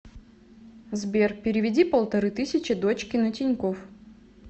сбер переведи полторы тысячи дочке на тинькофф